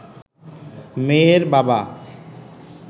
মেয়ের বাবা